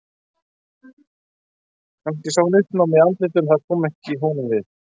Kannski sá hann uppnámið í andlitinu en það kom honum ekki við.